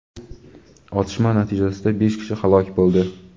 Otishma natijasida besh kishi halok bo‘ldi.